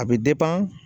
A bɛ